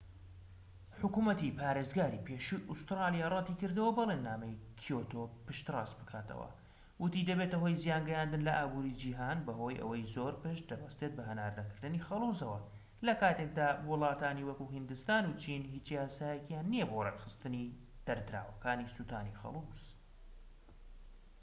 حکومەتی پارێزگاری پێشووی ئوستورالیا رەتی کردەوە بەڵێننامەی کیۆتۆ پشت ڕاست بکاتەوە وتی دەبێتە هۆی زیانگەیاندن لە ئابوری جیهان بەهۆی ئەوەی زۆر پشت دەبەستێت بە هەناردەکردنی خەڵوزەوە لەکاتێکدا وڵاتانی وەکو هیندستان و چین هیچ یاسایەکیان نیە بۆ ڕێکخستنی دەردراوەکانی سوتانی خەلوز